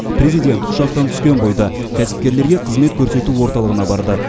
президент ұшақтан түскен бойда кәсіпкерлерге қызмет көрсету орталығына барды